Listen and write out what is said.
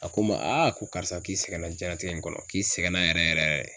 A ko n ma a ko karisa k'i sɛgɛnna diɲɛnlatigɛ in kɔnɔ, k'i sɛgɛn na yɛrɛ yɛrɛ de.